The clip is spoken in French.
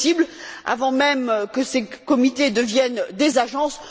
c'est possible avant même que ces comités deviennent des agences.